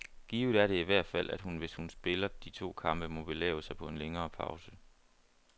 Givet er det i hvert fald, at hun, hvis hun spiller de to kampe, må belave sig på en længere pause.